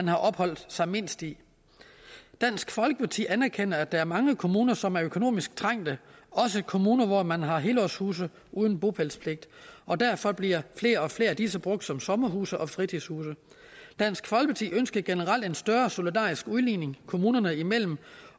har opholdt sig mindst i dansk folkeparti anerkender at der er mange kommuner som er økonomisk trængte også kommuner hvor man har helårshuse uden bopælspligt og derfor bliver flere og flere af disse brugt som sommerhuse og fritidshuse dansk folkeparti ønsker generelt en større solidarisk udligning kommunerne imellem